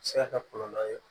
Se ka kɛ kɔlɔlɔ ye